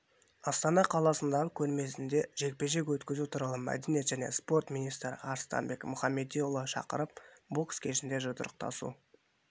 астана қаласындағы көрмесінде жекпе-жек өткізу турлы мәдениет және спорт министрі арыстанбек мұхамедиұлы шақырып бокс кешінде жұдырықтасу